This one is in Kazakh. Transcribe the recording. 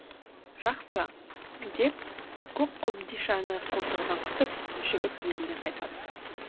жақсы деп көк қобдишаны қолтығына қысып жігіт еліне қайтады